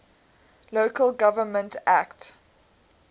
local government act